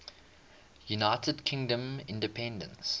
united kingdom independence